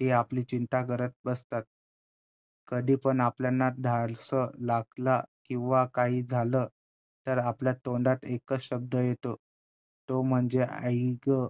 हे आपली चिंता करत बसतात, कधी पण आपल्यांना लागलं किंवा काही झालं तर आपल्या तोंडात एकच शब्द येतो तो म्हणजे आई गं,